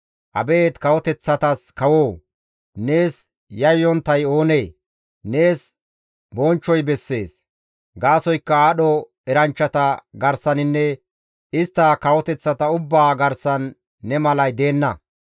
Abeet kawoteththatas kawoo! Nees yayyonttay oonee? Nees bonchchoy bessees; gaasoykka aadho eranchchata garsaninne istta kawoteththata ubbaa garsan ne malay deenna.